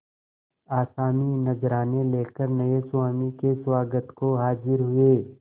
आसामी नजराने लेकर नये स्वामी के स्वागत को हाजिर हुए